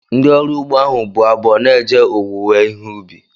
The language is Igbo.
Ndị ọrụ ugbo ahu bụ abọ na-eje owuwe ihe ubi